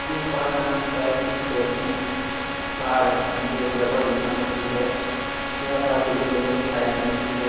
यह पहाड़ का नाम शायद चोर की पहाड़ है जो देवघर जिला में स्थित है यह पहाड़ एरिया में स्थित है।